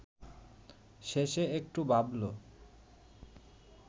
শেষে একটু ভাবল